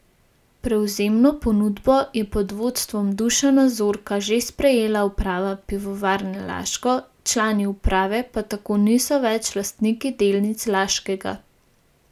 Prevzemno ponudbo je pod vodstvom Dušana Zorka že sprejela uprava Pivovarne Laško, člani uprave pa tako niso več lastniki delnic Laškega.